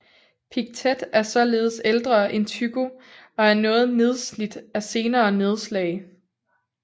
Pictet er således ældre end Tycho og er noget nedslidt af senere nedslag